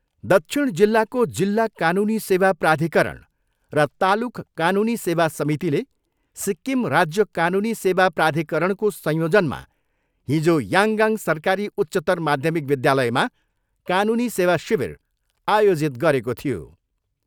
दक्षिण जिल्लाको जिल्ला कानुनी सेवा प्राधिकरण र तालुक कानुनी सेवा समितिले सिक्किम राज्य कानुनी सेवा प्राधिककरणको संयोजनमा हिजो याङगाङ सरकारी उच्चतर माध्यमिक विद्यालयमा कानुनी सेवा शिविर आयोजित गरेको थियो।